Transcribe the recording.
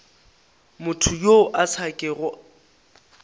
motho yo a sa kego